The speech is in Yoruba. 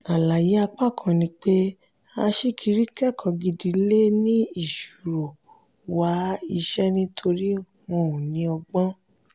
àlàyé apá kan ni pé aṣíkiri kẹ́kọ̀ọ́ gidi lè ní ìṣòro wá iṣẹ́ nítorí wọn ò ní ọgbọ́n.